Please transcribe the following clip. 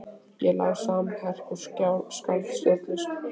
Ég lá samanherpt og skalf stjórnlaust.